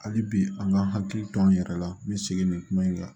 Hali bi an ka hakili to an yɛrɛ la n bɛ segin nin kuma in kan